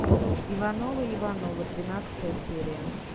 ивановы ивановы двенадцатая серия